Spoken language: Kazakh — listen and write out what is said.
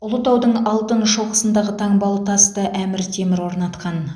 ұлытаудың алтын шоқысындағы таңбалы тасты әмір темір орнатқан